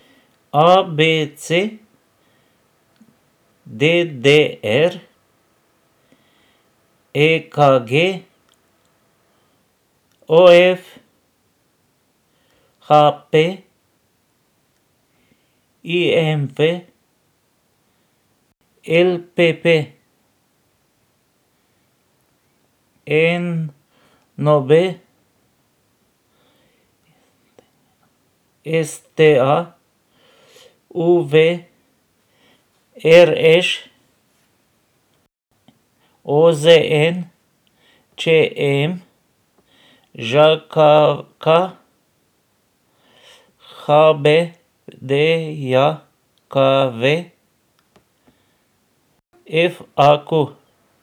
A B C; D D R; E K G; O F; H P; I M V; L P P; N O B; S T A; U V; R Š; O Z N; Č M; Ž K K; H B D J K V; F A Q.